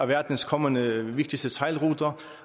verdens kommende vigtigste sejlruter